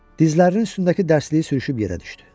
Dizlərinin üstündəki dərsliyi sürüşüb yerə düşdü.